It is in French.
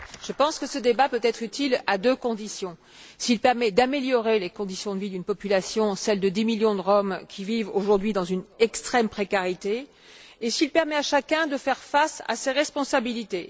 Je pense que ce débat peut être utile à deux conditions s'il permet d'améliorer les conditions de vie d'une population celles de 10 millions de Roms qui vivent aujourd'hui dans une extrême précarité et s'il permet à chacun de faire face à ses responsabilités.